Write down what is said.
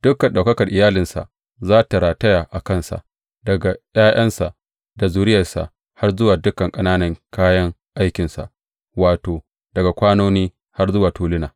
Dukan ɗaukakar iyalinsa za tă rataya a kansa daga ’ya’yansa da zuriyarsa har zuwa dukan ƙananan kayan aikinsa, wato, daga kwanoni har zuwa tuluna.